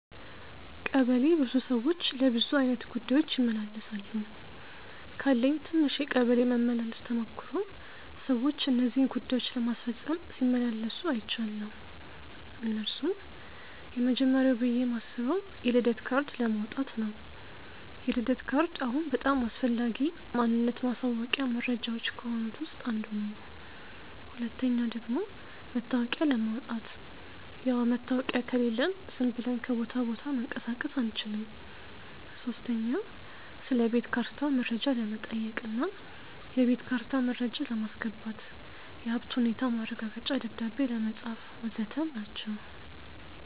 ቀበሌ ብዙ ሰዎች ለብዙ አይነት ጉዳዮች ይመላለሳሉ። ካለኝ ትንሽ የቀበሌ መመላለስ ተሞክሮ ሰዎች እነዚህን ጉዳዮች ለማስፈጸም ሲመላለሱ አይችያለው። እነርሱም፦ የመጀመርያው ብዬ ማስበው የልደት ካርድ ለማውጣት ነው፤ የልደት ካርድ አሁን በጣም አስፈላጊ ማንነት ማሳወቂያ መረጃዎች ከሆኑት ውስጥ አንዱ ነው። ሁለተኛው ደግሞ መታወቂያ ለማውጣት፣ ያው መታወቂያ ከሌለን ዝም ብለን ከቦታ ቦታ መንቀሳቀስ አንችልም። ሶስተኛ ስለቤት ካርታ መረጃ ለመጠየቅ እና የቤት ካርታ መረጃ ለማስገባት፣ የሀብት ሁኔታ ማረጋገጫ ደብዳቤ ለማጻፍ.... ወዘተ ናቸው።